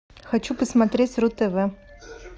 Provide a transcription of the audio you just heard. хочу посмотреть ру тв